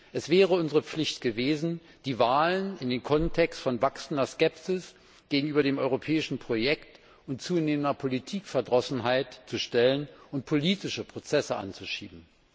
Es wäre unsere Pflicht gewesen, die Wahlen in den Kontext von wachsender Skepsis gegenüber dem europäischen Projekt und zunehmender Politikverdrossenheit zu stellen und politische Prozesse anzuschieben.